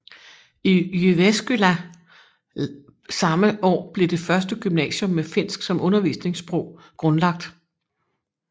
I Jyväskylä samme år blev det første gymnasium med finsk som undervisningssprog grundlagt